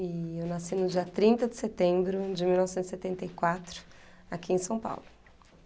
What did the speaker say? E eu nasci no dia trinta de setembro de mil novecentos e setenta e quatro, aqui em São Paulo.